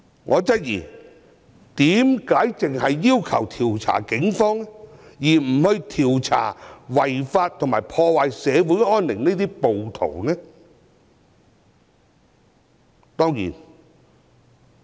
我質疑他們為何只要求調查警方，不調查違法及破壞社會安寧的暴徒？